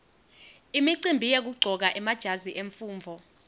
imicimbi yekuqcoka emajazi emfundvo